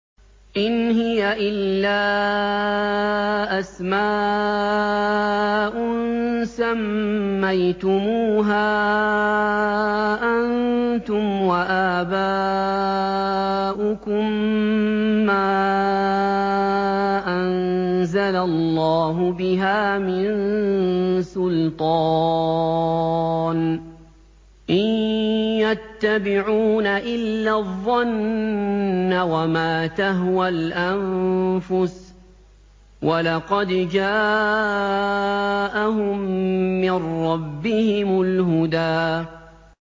إِنْ هِيَ إِلَّا أَسْمَاءٌ سَمَّيْتُمُوهَا أَنتُمْ وَآبَاؤُكُم مَّا أَنزَلَ اللَّهُ بِهَا مِن سُلْطَانٍ ۚ إِن يَتَّبِعُونَ إِلَّا الظَّنَّ وَمَا تَهْوَى الْأَنفُسُ ۖ وَلَقَدْ جَاءَهُم مِّن رَّبِّهِمُ الْهُدَىٰ